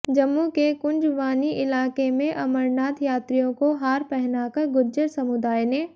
जम्मू के कुंजवानी इलाके में अमरनाथ यात्रियों को हार पहनाकर गुज्जर समुदाय ने